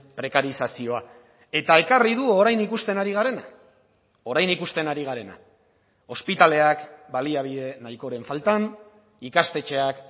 prekarizazioa eta ekarri du orain ikusten ari garena orain ikusten ari garena ospitaleak baliabide nahikoren faltan ikastetxeak